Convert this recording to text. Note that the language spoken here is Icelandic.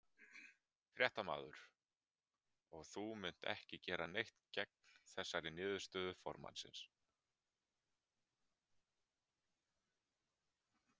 Fréttamaður: Og þú munt ekki gera neitt gegn þessari niðurstöðu formannsins?